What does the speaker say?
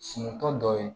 Sunutɔ dɔ ye